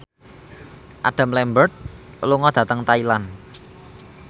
Adam Lambert lunga dhateng Thailand